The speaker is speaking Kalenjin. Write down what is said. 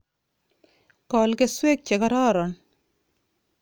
Kol keswek chekororon